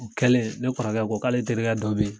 O kɛlen ne kɔrɔkɛ ko k'ale terikɛ dɔ be yen